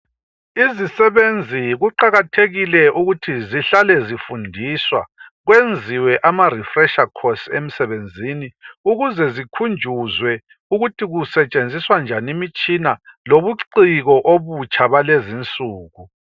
Izisebenzi kuqakathekile ukuthi zihlale zifundiswa. Kwenziwe ama refresher course emsebenzini. Ukuze zikhunjuzwe ukuthi kusetshenziswa njani imitshina. Lobuciko obutsha, balezi insuku.